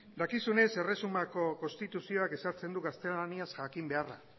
dakizunez erresumako konstituzioak ezartzen du gaztelania jakin beharra